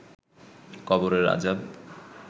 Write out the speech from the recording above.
কবরের আজাব